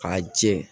K'a jɛ